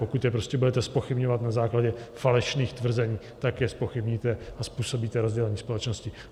Pokud je prostě budete zpochybňovat na základě falešných tvrzení, tak je zpochybníte a způsobíte rozdělení společnosti.